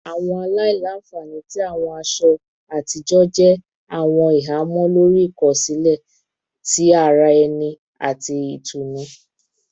Awọn aila-nfani ti awọn aṣọ atijọ jẹ awọn ihamọ lori ikosile ti ara ẹni ati itunu